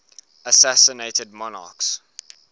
assassinated monarchs